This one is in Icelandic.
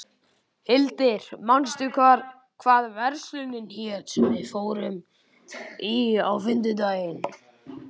Hildir, manstu hvað verslunin hét sem við fórum í á fimmtudaginn?